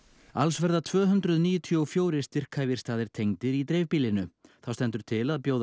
alls verða tvö hundruð níutíu og fjögur styrkhæfir staðir tengdir í dreifbýlinu þá stendur til að bjóða